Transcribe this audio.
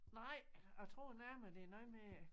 Nej jeg tror nærmere det er noget med